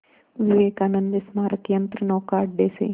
विवेकानंद स्मारक यंत्रनौका अड्डे से